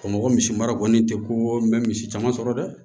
Bamakɔ misi mara kɔni tɛ ko n bɛ misi caman sɔrɔ dɛ